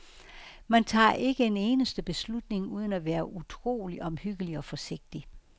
Man tager ikke en eneste beslutning uden at være utrolig omhyggelig og forsigtig.